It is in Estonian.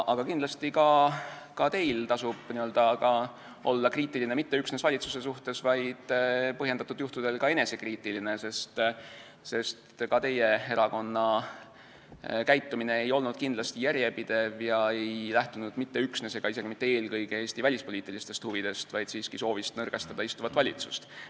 Aga kindlasti tasub ka teil olla kriitiline mitte üksnes valitsuse suhtes, vaid põhjendatud juhtudel ka enesekriitiline, sest ka teie erakonna käitumine ei olnud kindlasti järjepidev ega lähtunud mitte üksnes ega isegi mitte eelkõige Eesti välispoliitilistest huvidest, vaid siiski soovist nõrgestada istuvat valitsust.